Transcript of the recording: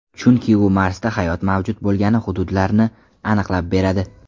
Chunki u Marsda hayot mavjud bo‘lgan hududlarni aniqlab beradi.